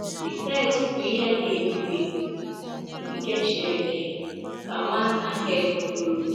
“ the text bụ ihe dị ebube nke Chineke, ” ka Nwanna Herd kwuru.